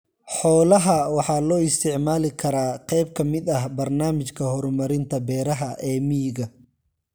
Xoolaha waxa loo isticmaali karaa qayb ka mid ah barnaamijka horumarinta beeraha ee miyiga.